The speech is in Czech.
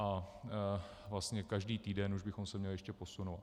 A vlastně každý týden už bychom se měli ještě posunout.